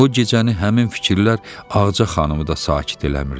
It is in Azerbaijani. O gecəni həmin fikirlər Ağca xanımı da sakit eləmirdi.